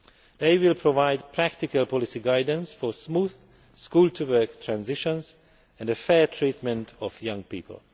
They will provide practical policy guidance for smooth school to work transitions and the fair treatment of young people.